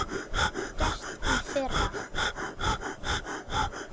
Það var gert í fyrra.